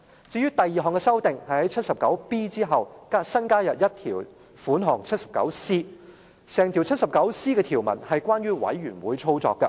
至於第二項修訂，是在第 79B 條後，新加入第 79C 條。第 79C 條整項條文，也是關乎委員會的運作。